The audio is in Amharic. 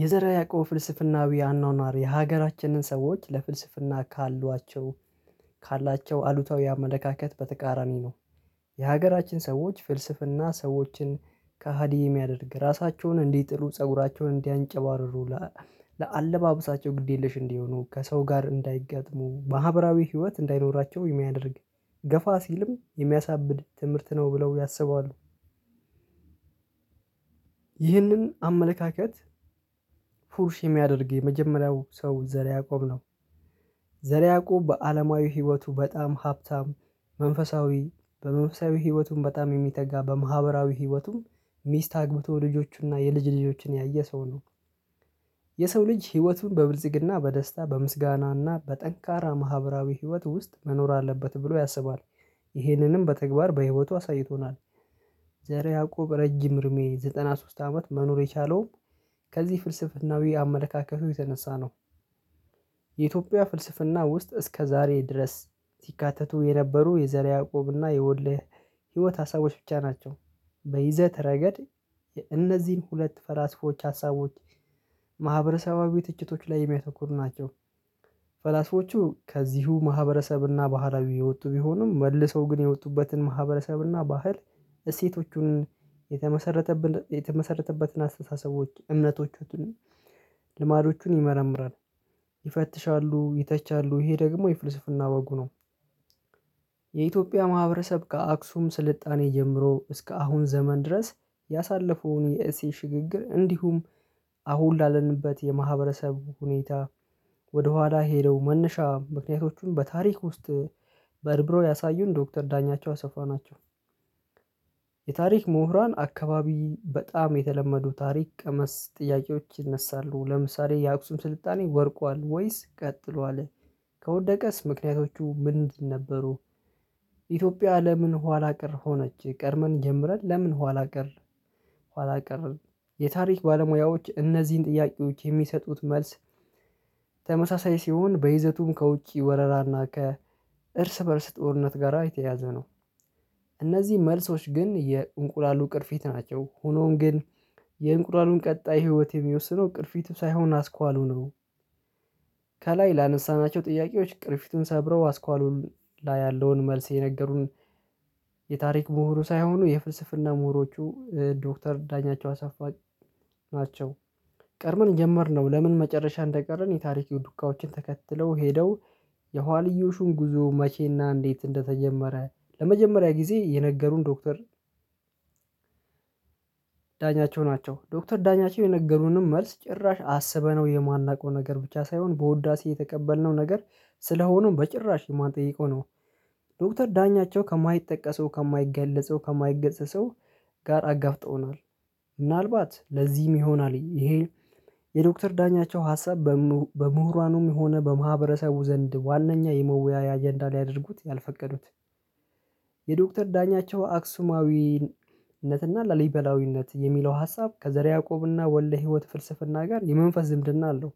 የዘር ያዕቆብ ፍልስፍናዊ አኗኗር የሀገራችንን ሰዎች ለፍልስፍና ካሏቸው ካላቸው አሉታዊ አመለካከት በተቃራኒ ነው። የሀገራችን ሰዎች ፍልስፍና ሰዎችን ከሀዲ የሚያደርግ ራሳቸውን እንዲጥሉ ፀጉራቸውን እንዲያንጨባርሩ ለአለባበሳቸው ግድ የለሽ እንዲሆኑ ከሰው ጋር እንዳይገጥሙ ማህበራዊ ህይወት እንዳይኖራቸው የሚያደርግ ገፋ ሲልም የሚያሳብድ ትምህርት ነው ብለው ያስበዋል። ይህንን አመለካከት ፉርሽ የሚያደርግ የመጀመሪያው ሰው ዘር ያዕቆብ ነው። ዘር ያዕቆብ በአለማዊ ህይወቱ በጣም ሀብታም መንፈሳዊ በመንፈሳዊ ህይወቱም በጣም የሚተጋ በማህበራዊ ህይወቱም ሚስት አግብቶ ልጆቹና የልጅ ልጆችን ያየ ሰው ነው። የሰው ልጅ ህይወቱን በብልጽግና በደስታ በምስጋናና በጠንካራ ማህበራዊ ህይወት ውስጥ መኖር አለበት ብሎ ያስባል። ይህንንም በተግባር በህይወቱ አሳይቶናል። ዘረ ያዕቆብ ረጅም እድሜ ዘጠና ሶስት አመት መኖር የቻለውም ከዚህ ፍልስፍናዊ አመለካከቱ የተነሳ ነው። የኢትዮጵያ ፍልስፍና ውስጥ እስከ ዛሬ ድረስ ሲካተቱ የነበሩ የዘረ ያዕቆብ እና የወልደ ህይወት ሀሳቦች ብቻ ናቸው። በይዘት ረገድ የእነዚህን ሁለት ፈላስፎች ሀሳቦች ማህበረሰባዊ ትችቶች ላይ የሚያተኩር ናቸው። ፈላስፎቹ ከዚሁ ማህበረሰብና ባህላዊ የወጡ ቢሆኑም መልሰው ግን የወጡበትን ማህበረሰብና ባህል እሴቶቹን የተመሰረተ የተመሰረተበትን አስተሳሰቦች እምነቶቹን ልማዶቹን ይመረምራል ይፈትሻሉ ይተቻሉ ይሄ ደግሞ የፍልስፍና ወጉ ነው። የኢትዮጵያ ማህበረሰብ ከአክሱም ስልጣኔ ጀምሮ እስከ አሁን ዘመን ድረስ ያሳለፈውን የእሴት ሽግግር እንዲሁም አሁን ላለንበት የማህበረሰብ ሁኔታ ወደ ኋላ ሄደው መነሻ ምክንያቶቹን በታሪክ ውስጥ በርብሮ ያሳዩን ዶክተር ዳኛቸው አሰፋ ናቸው። የታሪክ ምሁራን አካባቢ በጣም የተለመዱ ታሪክ ቀመስ ጥያቄዎች ይነሳሉ ለምሳሌ የአክሱም ስልጣኔ ወድቋል ወይስ ቀጥሏል? ከወደቀስ ምክንያቶቹ ምንድን ነበሩ? ኢትዮጵያ ለምን ኋላ ቀር ሆነች ቀድመን ጀምረን ለምን ኋላ ቀር? ኋላ ቀር የታሪክ ባለሙያዎች እነዚህን ጥያቄዎች የሚሰጡት መልስ ተመሳሳይ ሲሆን በይዘቱም ከውጪ ወረራና ከእርስ በእርስ ጦርነት ጋራ የተያዘ ነው። እነዚህ መልሶች ግን የእንቁላሉ ቅርፊት ናቸው ሆኖም ግን። የእንቁላሉን ቀጣይ ህይወት የሚወስነው ቅርፊቱ ሳይሆን አስኳሉ ነው። ከላይ ላነሳናቸው ጥያቄዎች ቅርፊቱን ሰብረው አስኳሉን ላይ ያለውን መልስ የነገሩን። የታሪክ ምሁሩ ሳይሆኑ የፍልስፍና ምሁሮቹ ዶክተር ዳኛቸው አሳፋ ናቸው። ቀድመን ጀመርነው ለምን መጨረሻ እንደቀረን የታሪክ ዱካዎችን ተከትለው ሄደው። የኋልዮሹም ጉዞ መቼና እንዴት እንደተጀመረ ለመጀመሪያ ጊዜ የነገሩን ዶክተር ዳኛቸው ናቸው። ዶክተር ዳኛቸው የነገሩንም መልስ ጭራሽ አስበነው የማናውቀው ነገር ብቻ ሳይሆን በውዳሴ የተቀበልነው ነገር ስለሆነም በጭራሽ የማንጠይቀው ነው። ዶክተር ዳኛቸው ከማይጠቀሰው ከማይገለጸው ከማይገሰጸው ጋር አጋፍጠውናል። ምናልባት ለዚህም ይሆናል ይሄ። የዶክተር ዳኛቸው ሀሳብ በምሁራኑም የሆነ በማህበረሰቡ ዘንድ ዋናኛ የመወያያ አጀንዳ ሊያደርጉት ያልፈቀዱት። የዶክተር ዳኛቸው አክሱማዊነትና ላሊበላዊነት የሚለው ሀሳብ ከዘር ያዕቆብና ወልደ ህይወት ፍልስፍና ጋር የመንፈስ ዝምድና አለው።